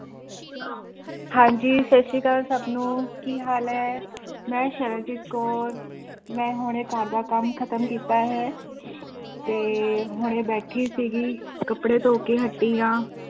ਹਾਂਜੀ ਸਤਿ ਸ੍ਰੀ ਅਕਾਲ ਸਭ ਨੂੰ ਕੀ ਹਾਲ ਹੈ ਮੈਂ ਸਰਬਜੀਤ ਕੌਰ ਮੈਂ ਹੁਣੇ ਘਰਦਾ ਕੰਮ ਖਤਮ ਕੀਤਾ ਹੈ ਤੇ ਹੁਣੇ ਬੈਠੀ ਸੀਗੀ ਕੱਪੜੇ ਧੋ ਕੇ ਹਟੀ ਹਾਂ